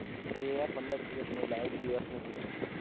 એ આ પંદર દીવસ નું નહિ લા એક દિવસ નું કીધું મેં